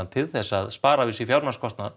til að spara við sig fjármagnskostnað